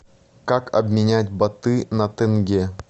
как обменять баты на тенге